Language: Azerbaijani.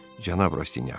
Cənab Rastyanyak.